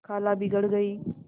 खाला बिगड़ गयीं